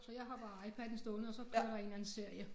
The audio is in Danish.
Så jeg har bare iPaden stående og så kører der en eller anden serie